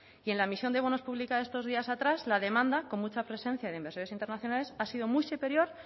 y en la emisión de bonos publicado estos días atrás la demanda con mucha presencia de inversores internacionales ha sido muy superior